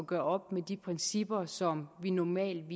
gøre op med de principper som vi normalt